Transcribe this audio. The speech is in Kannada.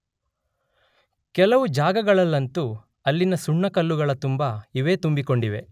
ಕೆಲವು ಜಾಗಗಳಲ್ಲಂತೂ ಅಲ್ಲಿನ ಸುಣ್ಣಕಲ್ಲುಗಳ ತುಂಬ ಇವೇ ತುಂಬಿಕೊಂಡಿವೆ.